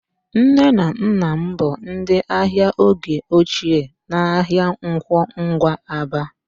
Nne na nna m bụ ndị ahịa oge ochie n'ahịa Nkwọ Ngwa, Aba